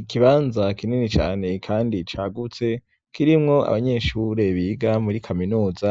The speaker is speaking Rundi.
Ikibanza kinini cane kandi cagutse kirimwo abanyeshure biga muri kaminuza,